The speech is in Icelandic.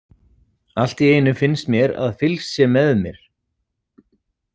Allt í einu finnst mér að fylgst sé með mér.